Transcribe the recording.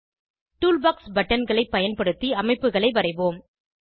toolbox பட்டன்களை பயன்படுத்தி அமைப்புகளை வரைவோம்